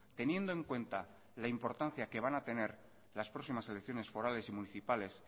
teniendo en cuenta la importancia que van a tener las próximas elecciones forales y municipales